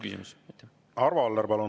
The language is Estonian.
Arvo Aller, palun!